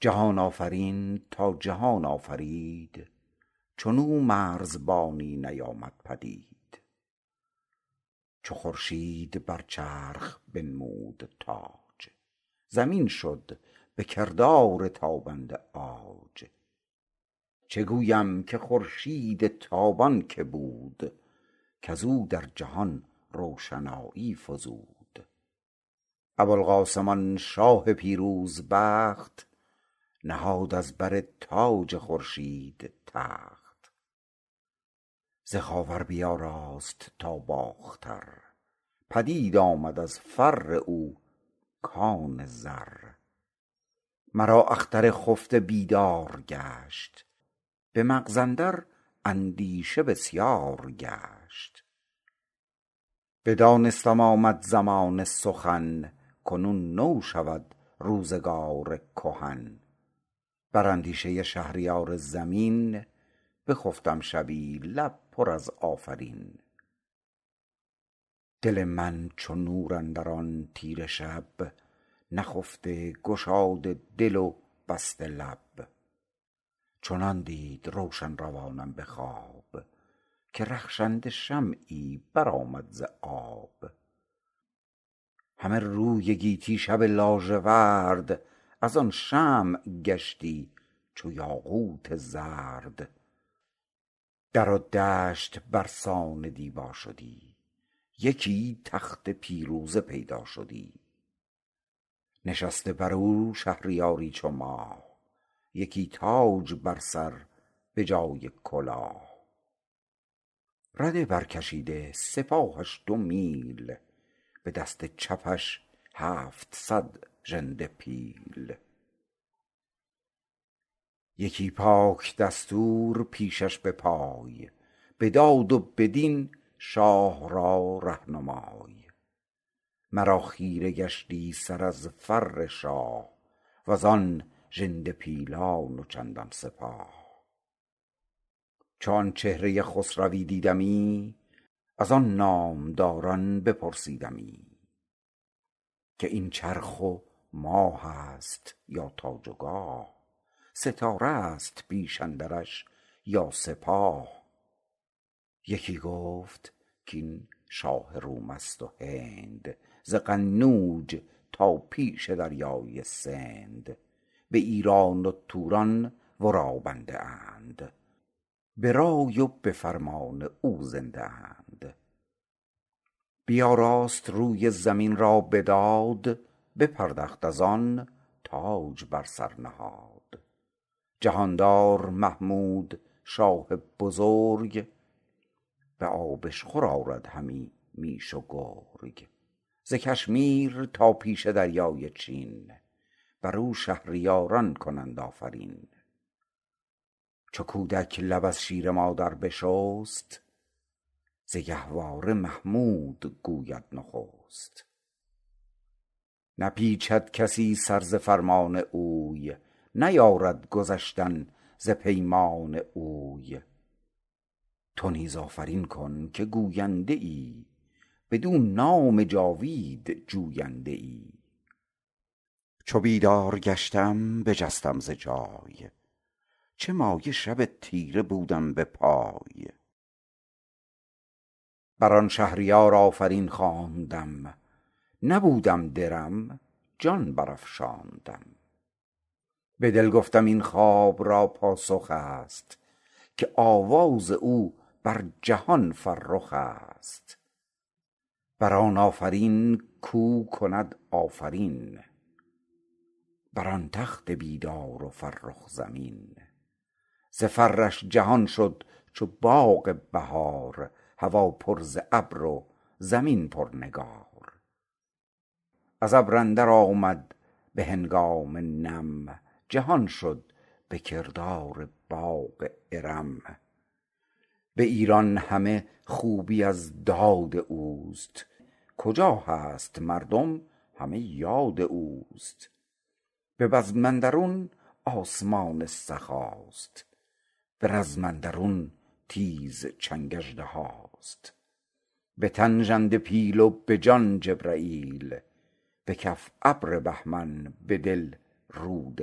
جهان آفرین تا جهان آفرید چون او مرزبانی نیامد پدید چو خورشید بر چرخ بنمود تاج زمین شد به کردار تابنده عاج چه گویم که خورشید تابان که بود کز او در جهان روشنایی فزود ابوالقاسم آن شاه پیروز بخت نهاد از بر تاج خورشید تخت ز خاور بیاراست تا باختر پدید آمد از فر او کان زر مرا اختر خفته بیدار گشت به مغز اندر اندیشه بسیار گشت بدانستم آمد زمان سخن کنون نو شود روزگار کهن بر اندیشه شهریار زمین بخفتم شبی لب پر از آفرین دل من چو نور اندر آن تیره شب نخفته گشاده دل و بسته لب چنان دید روشن روانم به خواب که رخشنده شمعی بر آمد ز آب همه روی گیتی شب لاژورد از آن شمع گشتی چو یاقوت زرد در و دشت بر سان دیبا شدی یکی تخت پیروزه پیدا شدی نشسته بر او شهریاری چو ماه یکی تاج بر سر به جای کلاه رده بر کشیده سپاهش دو میل به دست چپش هفتصد ژنده پیل یکی پاک دستور پیشش به پای به داد و به دین شاه را رهنمای مرا خیره گشتی سر از فر شاه و زان ژنده پیلان و چندان سپاه چو آن چهره خسروی دیدمی از آن نامداران بپرسیدمی که این چرخ و ماه است یا تاج و گاه ستاره است پیش اندرش یا سپاه یکی گفت کاین شاه روم است و هند ز قنوج تا پیش دریای سند به ایران و توران ورا بنده اند به رای و به فرمان او زنده اند بیاراست روی زمین را به داد بپردخت از آن تاج بر سر نهاد جهاندار محمود شاه بزرگ به آبشخور آرد همی میش و گرگ ز کشمیر تا پیش دریای چین بر او شهریاران کنند آفرین چو کودک لب از شیر مادر بشست ز گهواره محمود گوید نخست نپیچد کسی سر ز فرمان اوی نیارد گذشتن ز پیمان اوی تو نیز آفرین کن که گوینده ای بدو نام جاوید جوینده ای چو بیدار گشتم بجستم ز جای چه مایه شب تیره بودم به پای بر آن شهریار آفرین خواندم نبودم درم جان بر افشاندم به دل گفتم این خواب را پاسخ است که آواز او بر جهان فرخ است بر آن آفرین کو کند آفرین بر آن بخت بیدار و فرخ زمین ز فرش جهان شد چو باغ بهار هوا پر ز ابر و زمین پر نگار از ابر اندر آمد به هنگام نم جهان شد به کردار باغ ارم به ایران همه خوبی از داد اوست کجا هست مردم همه یاد اوست به بزم اندرون آسمان سخاست به رزم اندرون تیز چنگ اژدهاست به تن ژنده پیل و به جان جبرییل به کف ابر بهمن به دل رود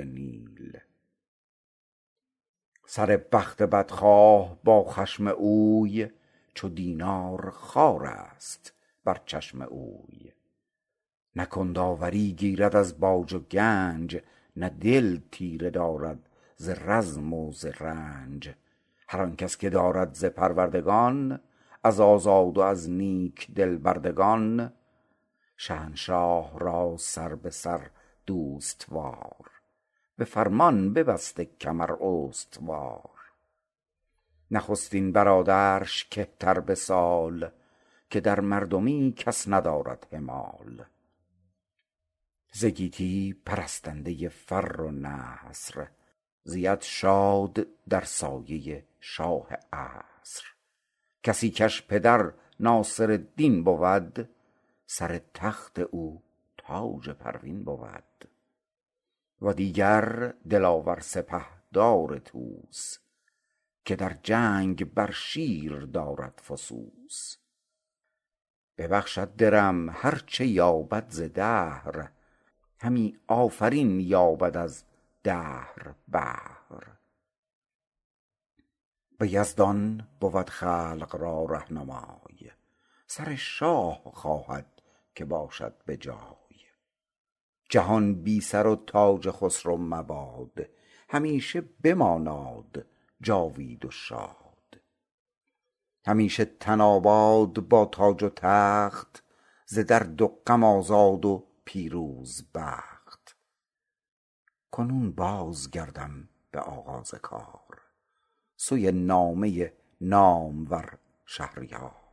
نیل سر بخت بدخواه با خشم اوی چو دینار خوارست بر چشم اوی نه کند آوری گیرد از باج و گنج نه دل تیره دارد ز رزم و ز رنج هر آن کس که دارد ز پروردگان از آزاد و از نیک دل بردگان شهنشاه را سر به سر دوست وار به فرمان ببسته کمر استوار نخستین برادرش که تر به سال که در مردمی کس ندارد همال ز گیتی پرستنده فر و نصر زید شاد در سایه شاه عصر کسی کش پدر ناصرالدین بود سر تخت او تاج پروین بود و دیگر دلاور سپهدار طوس که در جنگ بر شیر دارد فسوس ببخشد درم هر چه یابد ز دهر همی آفرین یابد از دهر بهر به یزدان بود خلق را رهنمای سر شاه خواهد که باشد به جای جهان بی سر و تاج خسرو مباد همیشه بماناد جاوید و شاد همیشه تن آباد با تاج و تخت ز درد و غم آزاد و پیروز بخت کنون باز گردم به آغاز کار سوی نامه نامور شهریار